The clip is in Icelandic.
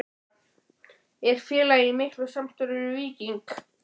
Er félagið í miklu samstarfi við Víking?